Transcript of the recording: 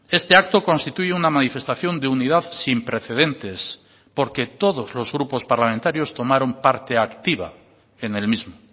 este acto constituye una manifestación de unidad sin precedentes porque todos los grupos parlamentarios tomaron parte activa en el mismo